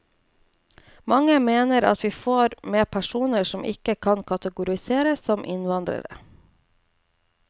Mange mener at vi får med personer som ikke kan kategoriseres som innvandrere.